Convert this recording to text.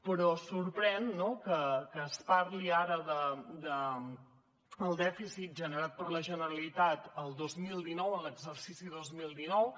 però sorprèn no que es parli ara del dèficit generat per la generalitat el dos mil dinou en l’exercici dos mil dinou